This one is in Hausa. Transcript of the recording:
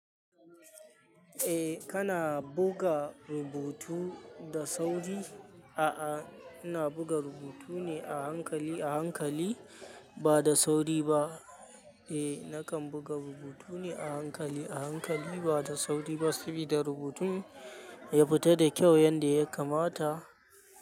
Eh kana buga rubutu da sauri. A'a, ina buga rubutu ne a hankali a hankali ba da sauri ba. Eh nakan buga rubutu ne a hankali a hankali ba da sauri ba sabida rubutun ya fita da kyau yanda ya kamata.